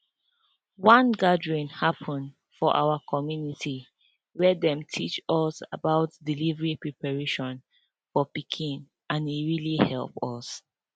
one gathering happen for our community where them teachs us about delivery preparation for pikin and e really help us